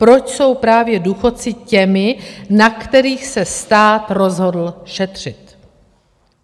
Proč jsou právě důchodci těmi, na kterých se stát rozhodl šetřit.